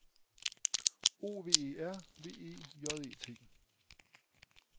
O V E R V E J E T